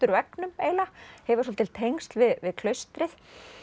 klausturveggnum eiginlega hefur svolítil tengsl við klaustrið